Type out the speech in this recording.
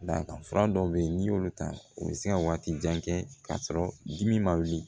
Dakan fura dɔw be yen n'i y'olu ta u be se ka waati jan kɛ k'a sɔrɔ dimi ma wuli